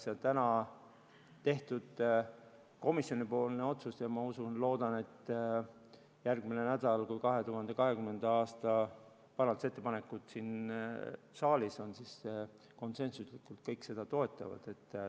See on komisjoni otsus ja ma usun ja loodan, et järgmisel nädalal, kui 2020. aasta lisaeelarve parandusettepanekuid siin saalis arutatakse, siis kõik toetavad neid konsensuslikult.